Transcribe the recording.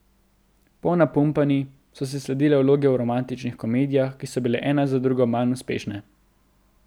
Po Napumpani so si sledile vloge v romantičnih komedijah, ki so bile ena za drugo manj uspešne.